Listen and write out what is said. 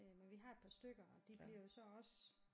Men vi har et par stykker og de bliver jo så også